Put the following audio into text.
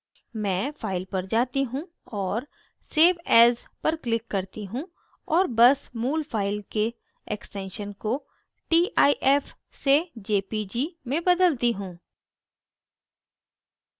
मैं file पर जाती हूँ और save as पर click करती हूँ और as मूल फाइल के extension को tif से jpg में बदलती हूँ